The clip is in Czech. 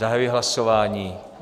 Zahajuji hlasování.